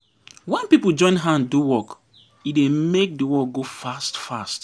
Wen pipo join hand do work, e dey make di work go fast-fast.